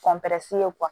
ye